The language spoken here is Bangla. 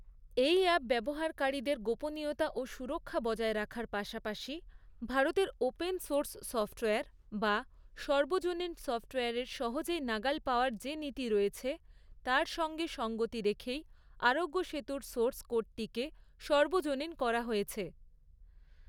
এই অ্যাপ ব্যবহারকারীদের গোপনীয়তা ও সুরক্ষা বজায় রাখার পাশাপাশি, ভারতের ওপেন সোর্স সফট্ওয়্যার বা সর্বজনীন সফট্ওয়্যারের সহজেই নাগাল পাওয়ার যে নীতি রয়েছে, তার সঙ্গে সঙ্গতি রেখেই আরোগ্য সেতুর সোর্স কোডটিকে সর্বজনীন করা হয়েছে।